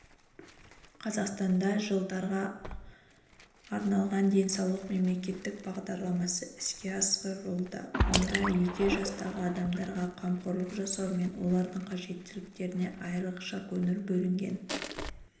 қазақстанда жылдарға арналған денсаулық мемлекеттік бағдарламасы іске асырылуда онда егде жастағы адамдарға қамқорлық жасау мен олардың қажеттіліктеріне айрықша көңіл бөлінген